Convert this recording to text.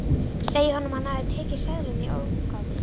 Segja honum að hann hafi tekið seðlana í ógáti.